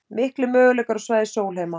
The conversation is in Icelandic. Miklir möguleikar á svæði Sólheima